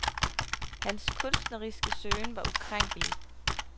Hans kunstneriske søgen var ukrænkelig.